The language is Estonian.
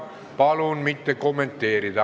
Palun mitte kommenteerida!